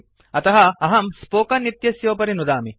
अतः अहं स्पोकेन इत्यस्योपरि नुदामि